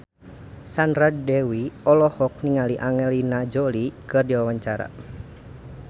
Sandra Dewi olohok ningali Angelina Jolie keur diwawancara